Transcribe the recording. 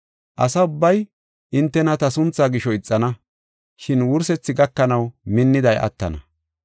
Asa ubbay hintena ta suntha gisho ixana, shin wursethi gakanaw minniday attana.